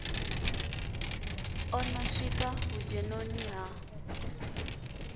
o no swika vhudzhenoni ha